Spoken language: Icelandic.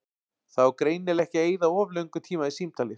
Það á greinilega ekki að eyða of löngum tíma í símtalið.